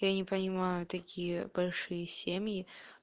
я не понимаю такие большие семьи